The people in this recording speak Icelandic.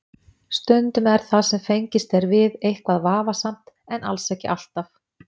Stundum er það sem fengist er við eitthvað vafasamt en alls ekki alltaf.